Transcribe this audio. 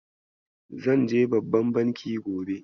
Zan je babban banki gobe.